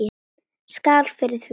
Skál fyrir því.